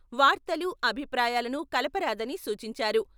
వార్తలు, అభిప్రాయాలను కలపరాదని సూచించారు.